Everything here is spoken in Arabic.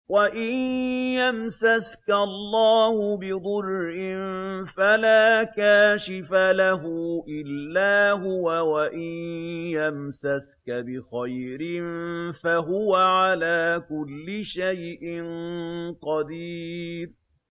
وَإِن يَمْسَسْكَ اللَّهُ بِضُرٍّ فَلَا كَاشِفَ لَهُ إِلَّا هُوَ ۖ وَإِن يَمْسَسْكَ بِخَيْرٍ فَهُوَ عَلَىٰ كُلِّ شَيْءٍ قَدِيرٌ